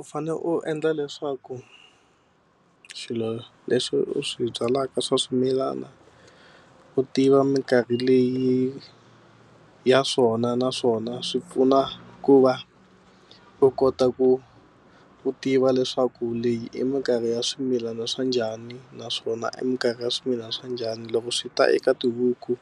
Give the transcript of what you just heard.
U fane u endla leswaku swilo leswi u swi byalaka swa swimilana u tiva mikarhi leyi ya swona naswona swi pfuna ku va u kota ku u tiva u leswaku leyi i mikarhi ya swimilana swa njhani naswona i mikarhi ya swimilana swa njhani. Loko swi ta eka tihuku